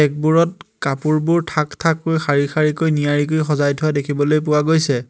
Rack বোৰত কাপোৰবোৰ থাক-থাককৈ শাৰী-শাৰীকৈ নিয়াৰিকৈ সজাই থোৱা দেখিবলৈ পোৱা গৈছে।